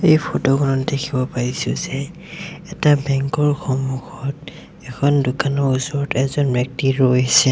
এই ফটো খনত দেখিব পাইছোঁ যে এটা বেংক ৰ সন্মুখত এখন দোকানৰ ওচৰত এজন ব্যক্তি ৰৈছে।